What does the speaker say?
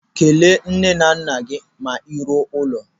Kelee nne na nna gị ma ị ruo n'ụlọ.